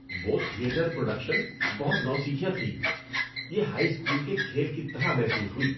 وہ theatre production بہت نوسیکھیا تھی۔ یہ ہائی اسکول کے کھیل کی طرح محسوس ہوئی۔